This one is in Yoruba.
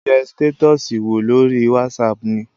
Mo kọ̀ ń yẹ stétọ́ọ̀sì wò lórí whatsapp ni.